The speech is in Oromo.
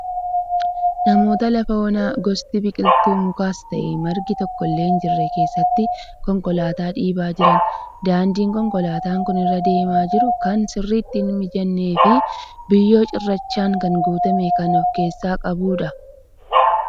Namoota lafa onaa gosti biqiltuu mukaas ta'e margi tokkollee hin jirre keessatti konkolaataa dhiibaa jiran. Daandiin konkolaataan kun irra deemaa jiru kan sirriitti hin mijannee fi biyyoo cirrachaan kan guutame kan ofkeessaa qabudha.